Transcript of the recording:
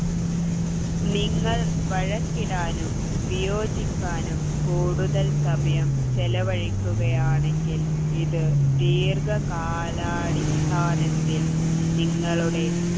നിങ്ങൾ വഴക്കിടാനും വിയോജിക്കാനും കൂടുതൽ സമയം ചെലവഴിക്കുകയാണെങ്കിൽ ഇത് ദീർഘകാലം കാലടിസ്ഥാനത്തിൽ നിങ്ങളുടെ